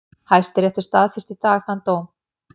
Hæstiréttur staðfesti í dag þann dóm